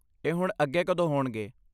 ਇਹ ਹੁਣ ਅੱਗੇ ਕਦੋਂ ਹੋਣਗੇ?